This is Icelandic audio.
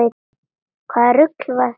Hvaða rugl var þetta nú?